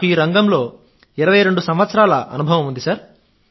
నాకు ఈ రంగంలో 22 సంవత్సరాల అనుభవం ఉంది